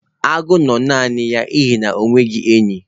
Agụ na-anọ nnọọ naanị n'ihi na o nweghị enyi